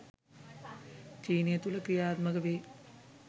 චීනය තුළ ක්‍රියාත්මක වේ.